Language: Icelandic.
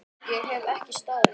Ég hef ekki staðið mig!